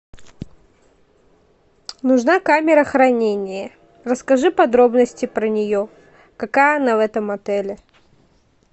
нужна камера хранения расскажи подробности про нее какая она в этом отеле